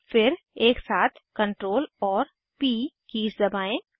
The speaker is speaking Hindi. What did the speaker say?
फिर एकसाथ Ctrl और प कीज़ दबाएं